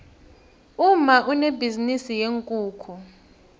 umma unebhizinisi yeenkukhu